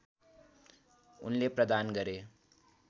उनले प्रदान गरे